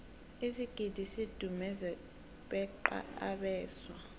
isigidi sidumuze beqa abeswa